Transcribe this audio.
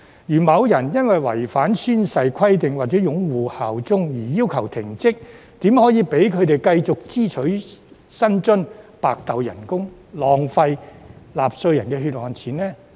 如果某人因為違反宣誓規定或擁護效忠而被要求停職，怎可以讓他們繼續支取薪津、白拿工資、浪費納稅人的血汗錢呢？